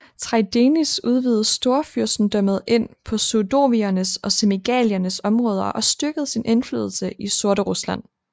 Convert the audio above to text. Traidenis udvidede Storfyrstendømmet ind på sudoviernes og semigaliernes områder og styrkede sin indflydelse i Sorterusland